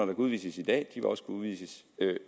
kan udvises i dag vil også kunne udvises